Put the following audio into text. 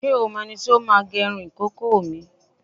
Ṣé o mọ ẹni tí ó máa gẹrun ìkókó mi?